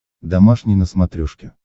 домашний на смотрешке